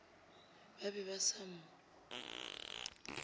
ba be ba sa mo